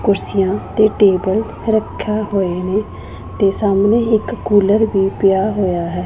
ਕੁਰਸੀਆਂ ਤੇ ਟੇਬਲ ਰੱਖੇਯਾ ਹੋਏ ਨੇ ਤੇ ਸਾਹਮਣੇ ਇੱਕ ਕੂਲਰ ਵੀ ਪਿਆ ਹੋਇਆ ਹੈ।